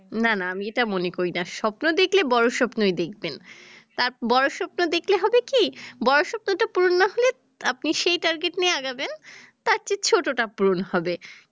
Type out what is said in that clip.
না না আমি এটা মনে করি না স্বপ্ন দেখলে বড় স্বপ্নই দেখবেন, বড় স্বপ্ন দেখলে হবে কি বড় স্বপ্ন টা পূরণ না হলে আপনি সেই target নিয়ে আগাবেন তার চেয়ে ছোট টা পূরণ হবে